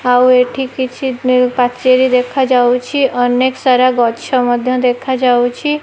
ଆଉ ଏଠି କିଛି ନିଉ ପାଚେରି ଦେଖାଯାଉଛି ଅନେକ୍ ସାରା ଗଛ ମଧ୍ୟ ଦେଖାଯାଉଚି।